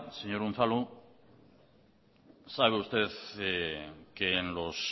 señor unzalu sabe usted que en los